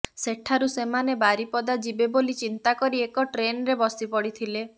ସେଠାରୁ ସେମାନେ ବାରିପଦା ଯିବେ ବୋଲି ଚିନ୍ତା କରି ଏକ ଟ୍ରେନ୍ରେ ବସି ପଡ଼ିଥିଲେ